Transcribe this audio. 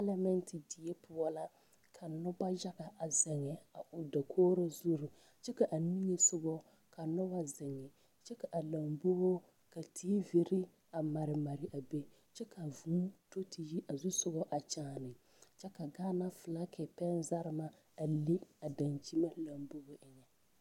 Selmɛŋte die poɔ la ka noba yaga ziŋe a dakogro zure kyɛ ka a nigesɔgɔ ka noba ziŋ kyɛ ka a lamboo tiivire a mare mare a be kyɛ vuu a do te yi a xusɔgɔ a kyaane kyɛ ka Gaana filage pɛŋzarema a leŋ a daŋkyime lambobo eŋɛ.